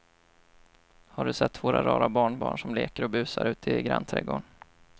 Har du sett våra rara barnbarn som leker och busar ute i grannträdgården!